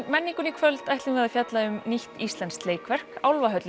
menningunni í kvöld ætlum við að fjalla um nýtt íslenskt leikverk